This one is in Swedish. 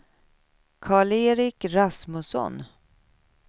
Karl-Erik Rasmusson